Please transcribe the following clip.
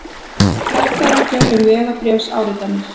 Hertar reglur um vegabréfsáritanir